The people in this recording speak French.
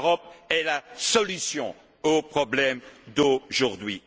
crise l'Europe est la solution aux problèmes d'aujourd'hui.